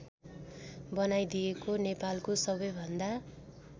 बनाइदिएको नेपालको सबैभन्दा